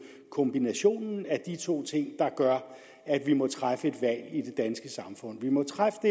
kombinationen af de to ting der gør at vi må træffe valg i det danske samfund vi må træffe det